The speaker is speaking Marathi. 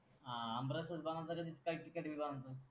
आमरस बनतो का